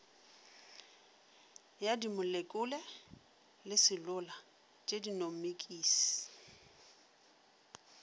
ya dimolekule le selula tšenomikisi